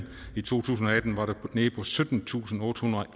i to tusind og atten var det nede på syttentusinde og ottehundrede og